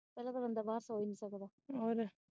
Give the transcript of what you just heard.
ਕੱਲਾ ਤਾਂ ਬੰਦਾ ਬਾਹਰ ਸੋ ਨੀ ਸਕਦਾ।